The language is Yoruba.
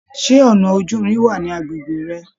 Ṣe ọnà ojúrin wà ní agbègbè rẹ?